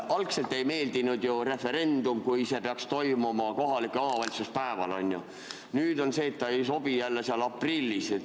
Algul ei meeldinud see, kui referendum peaks toimuma kohalike omavalitsuste valimiste päeval, nüüd ei sobi see jälle aprillis.